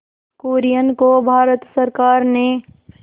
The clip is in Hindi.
कुरियन को भारत सरकार ने